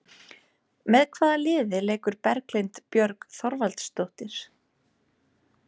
Með hvaða liði leikur Berglind Björg Þorvaldsdóttir?